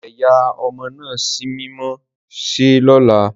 Eyà ọmọ naa símímọ ṣe lola!